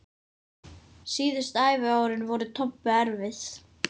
Síðustu æviárin voru Tobbu erfið.